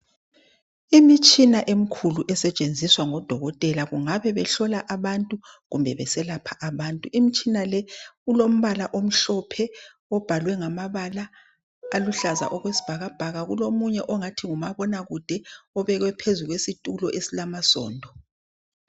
Imitshina emikhulu esetshenziswa ngodokoteka kungabe behlola abantu kumbe beselapha abantu kumbe beselapha abantu kulomunye ongathi ngumabonakude